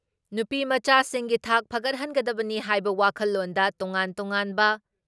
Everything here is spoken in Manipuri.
ꯅꯨꯄꯤꯃꯆꯥꯁꯤꯡꯒꯤ ꯊꯥꯛ ꯐꯒꯠꯍꯟꯒꯗꯕꯅꯤ ꯍꯥꯏꯕ ꯋꯥꯈꯜꯂꯣꯟꯗ ꯇꯣꯉꯥꯟ ꯇꯣꯉꯥꯟꯕ